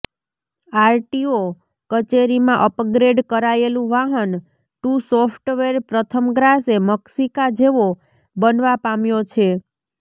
RTO કચેરીમાં upgrade કરાયેલું Vahan two software પ્રથમગ્રાસે મક્ષિકા જેવો બનવા પામ્યો છે